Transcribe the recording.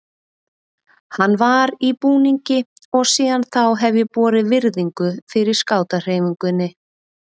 Hann var í búningi og síðan þá hef ég borið virðingu fyrir skátahreyfingunni.